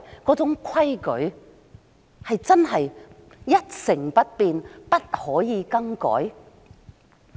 那種規矩，真的是不可以更改嗎？